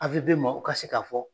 maaw o ka se k'a fɔ.